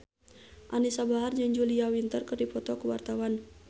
Anisa Bahar jeung Julia Winter keur dipoto ku wartawan